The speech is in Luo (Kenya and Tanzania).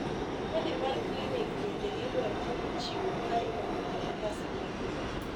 kadi mar clinic bendo idwaro ni ichiwo ka imanyo kalatas mar nyuol